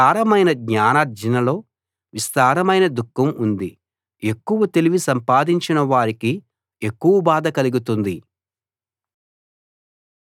విస్తారమైన జ్ఞానార్జనలో విస్తారమైన దుఃఖం ఉంది ఎక్కువ తెలివి సంపాదించిన వారికి ఎక్కువ బాధ కలుగుతుంది